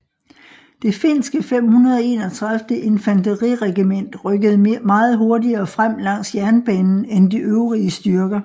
Det finske 531 infanteriregiment rykkede meget hurtigere frem langs jernbanen end de øvrige styrker